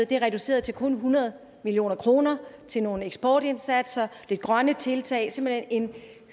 det er reduceret til kun hundrede million kroner til nogle eksportindsatser lidt grønne tiltag simpelt hen en